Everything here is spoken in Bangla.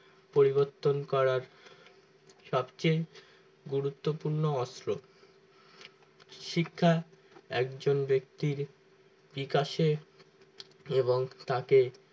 পরিবর্তন করার সবচেয়ে গুরুত্বপূর্ণ অস্ত্র শিক্ষা একজন ব্যক্তির দিক আসে এবং তাকে